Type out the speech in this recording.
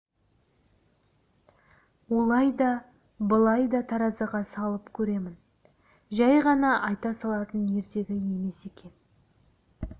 олай да былай да таразыға салып көремін жай ғана айта салатын ертегі емес екен